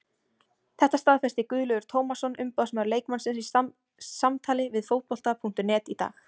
Þetta staðfesti Guðlaugur Tómasson umboðsmaður leikmannsins í samtali við Fótbolta.net í dag.